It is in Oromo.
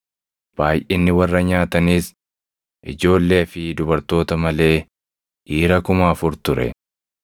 Baayʼinni warra nyaataniis ijoollee fi dubartoota malee dhiira kuma afur ture.